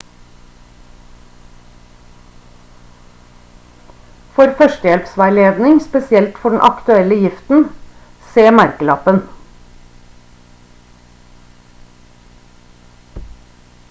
for førstehjelpveiledning spesielt for den aktuelle giften se merkelappen